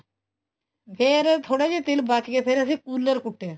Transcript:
ਫ਼ੇਰ ਥੋੜੇ ਜੇ ਤਿਲ ਬਚ ਗਏ ਫ਼ੇਰ ਅਸੀਂ ਕੂਲਰ ਕੁੱਟਿਆ